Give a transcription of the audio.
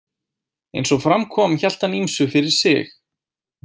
Eins og fram kom hélt hann ýmsu fyrir sig.